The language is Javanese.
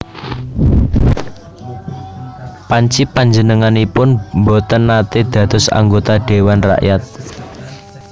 Panci panjenenganipun boten naté dados anggota Dhéwan Rakyat